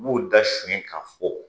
U b'u da sonya k'a fɔ